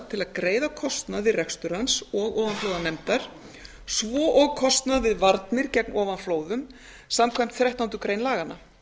til að greiða kostnað við rekstur hans og ofanflóðanefndar svo og kostnað við varnir gegn ofanflóðum samkvæmt þrettándu greinar laganna